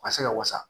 A ka se ka wasa